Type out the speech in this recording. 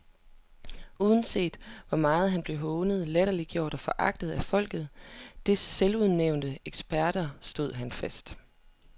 Uanset hvor meget han blev hånet, latterliggjort og foragtet af folket og dets selvudnævnte eksperter, stod han fast.